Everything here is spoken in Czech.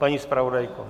Paní zpravodajko?